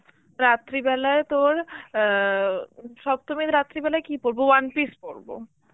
রাত্রিবেলায় তোর অ্যাঁ উম সপ্তমীর রাত্রে বেলায় কি পরবো, one piece পরবো.